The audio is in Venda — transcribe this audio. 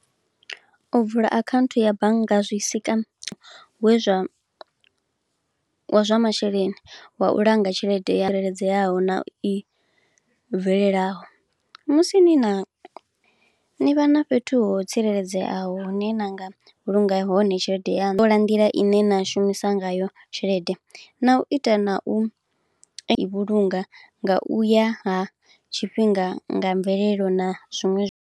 O vula akhaunthu ya bannga zwisika we zwa, wa zwa masheleni wa u langa tshelede ya leledzeaho na i bvelelaho. Musi ni na, ni vha na fhethu ho tsireledzeaho hune nanga vhulunga hone tshelede yanu. Ṱola nḓila ine na shumisa ngayo tshelede na u ita na u vhulunga nga u ya ha tshifhinga nga mvelelo na zwiṅwe zwi.